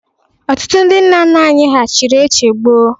Ọtụtụ ndị nna nna anyị ha chiri eche gboo.